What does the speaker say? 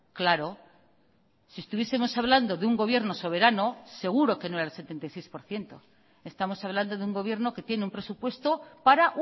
claro si estuviesemos hablando de un gobierno soberano seguro que no era el setenta y seis por ciento estamos hablando de un gobierno que tiene un presupuesto para